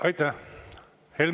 Aitäh!